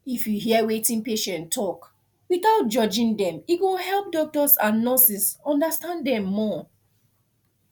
if you hear wetin patient talk without judging dem e go help doctors and nurses understand dem more